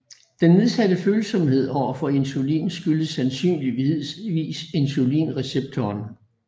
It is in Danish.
Den nedsatte følsomhed over for insulin skyldes sandsynligvis insulinreceptoren